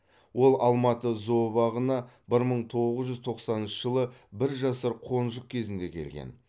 ол алматы зообағына бір мың тоғыз жүз тоқсаныншы жылы бір жасар қонжық кезінде келген